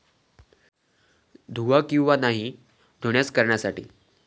धुवा किंवा नाही धुण्यास करण्यासाठी